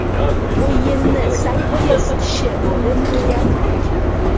O‘yinni sakkiz kishi bo‘lib tugatdik.